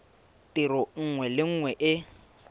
tiro nngwe le nngwe e